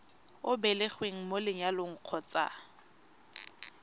o belegweng mo lenyalong kgotsa